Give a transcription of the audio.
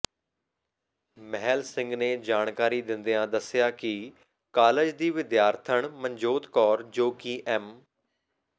ਮਹਿਲ ਸਿੰਘ ਨੇ ਜਾਣਕਾਰੀ ਦਿੰਦਿਆਂ ਦੱਸਿਆ ਕਿ ਕਾਲਜ ਦੀ ਵਿਦਿਆਰਥਣ ਮਨਜੋਤ ਕੌਰ ਜੋ ਕਿ ਐਮ